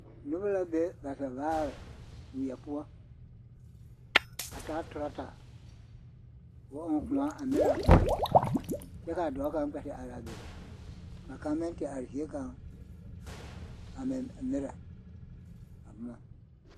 Noba la be ba zɛvaare weɛ poɔ a taa torɔta ka o ɔŋ koɔ a merɛ a boma kyɛ ka a dɔɔ kaŋ kpɛ te are a be ka kaŋ meŋ te are zie kaŋ a meŋ merɛ a boma.